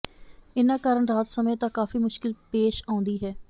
ਇਨ੍ਹਾਂ ਕਾਰਨ ਰਾਤ ਸਮੇਂ ਤਾਂ ਕਾਫੀ ਮੁਸ਼ਕਿਲ ਪੇਸ਼ ਆਉਂਦੀ ਹੈ